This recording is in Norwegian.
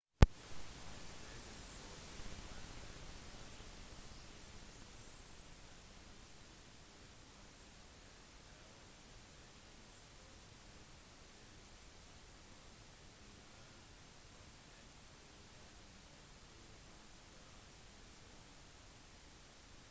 i stedet for å vente til neste gang de møtes ansikt til ansikt kan elever sende inn spørsmål til instruktørene når som helst på dagen og få ganske rask respons